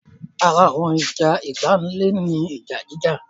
Ara àwọn ìwà ìpáǹle ni ìjà jíjà